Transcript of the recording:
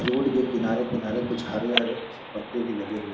Road के किनारे-किनारे कुछ हरे-हरे पत्ते भी लगे हुए हैं।